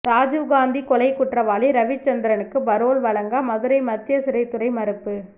ராஜீவ் காந்தி கொலைக் குற்றவாளி ரவிச்சந்திரனுக்கு பரோல் வழங்க மதுரை மத்திய சிறைத்துறை மறுப்பு